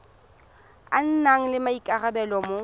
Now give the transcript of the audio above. a nang le maikarabelo mo